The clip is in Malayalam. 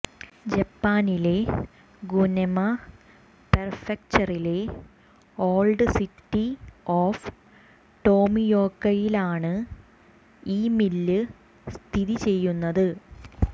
ജപ്പാനിലെ ഗുനെമ പെർഫ്ക്ചറിലെ ഓൾഡ് സിറ്റി ഓഫ് ടോമിയോക്കയിലാണ് ഈ മില്ല് സ്ഥിതിചെയ്യുന്നത്